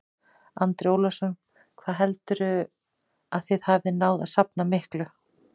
Andri Ólafsson: Hvað heldurðu að þið hafið náð að safna miklu?